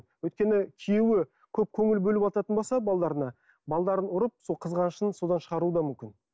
өйткені күйеуі көп көңіл бөлівататын болса балаларына балаларын ұрып сол қызғанышын содан шығаруы да мүмкін